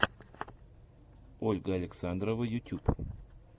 ольга александрова ютюб